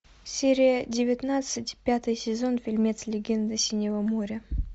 серия девятнадцать пятый сезон фильмец легенда синего моря